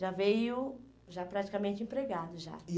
Já veio, já praticamente empregado já.